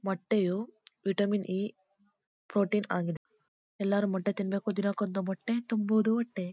ಮೊಟ್ಟೆಯು vitamin ಈ protein ಆಗಿದೆ ಎಲ್ಲರು ಮೊಟ್ಟೆ ತಿನ್ಬೇಕು ದಿನಕ್ಕೊಂದು ಮೊಟ್ಟೆ ತುಂಬುವುದು ಹೊಟ್ಟೆ.